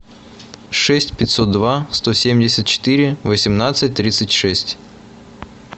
шесть пятьсот два сто семьдесят четыре восемнадцать тридцать шесть